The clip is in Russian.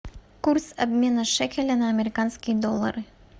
курс обмена шекеля на американские доллары